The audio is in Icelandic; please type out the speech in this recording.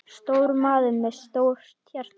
Stór maður með stórt hjarta.